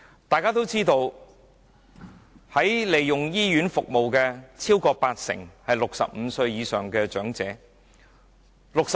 大家都知道，超過八成使用醫院服務的人是65歲以上的長者。